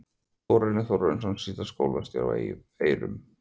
Þórarinn Þórarinsson, síðar skólastjóri á Eiðum.